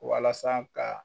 Walasa ka.